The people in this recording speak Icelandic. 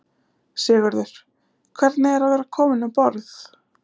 Sigurður: Hvernig er að vera komin um borð?